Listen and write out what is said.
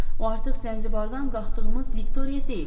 O artıq Zanzibardan qalxdığımız Viktoriya deyil.